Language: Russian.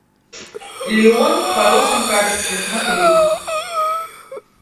леон в хорошем качестве смотреть